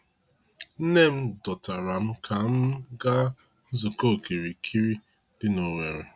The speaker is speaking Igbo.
Nne m dọtara m ka m ga nzukọ okirikiri dị na Owerri.